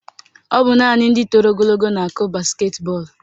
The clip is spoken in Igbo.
Ọ bụ naanị ndị toro ogologo na-akụ basketi bọọlụ